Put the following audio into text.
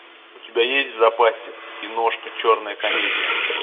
у тебя есть в запасе киношка черная комедия